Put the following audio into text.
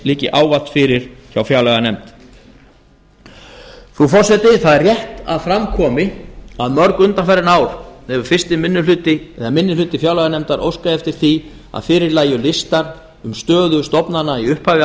liggi ávallt fyrir hjá fjárlaganefnd frú forseti það er rétt að fram komi að mörg undanfarin ár hefur minnihluti fjárlaganefndar óskað eftir því að fyrir lægju listar um stöðu stofnana í upphafi